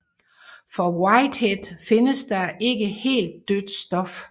For Whitehead findes der ikke helt dødt stof